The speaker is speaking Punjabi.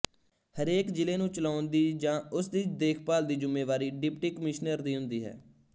ਹਰੇਕ ਜ਼ਿਲ੍ਹੇ ਨੂੰ ਚਲਾਉਣ ਦੀ ਜਾਂ ਉਸਦੀ ਦੇਖਭਾਲ ਦੀ ਜ਼ਿੰਮੇਵਾਰੀ ਡਿਪਟੀ ਕਮਿਸ਼ਨਰ ਦੀ ਹੁੰਦੀ ਹੈ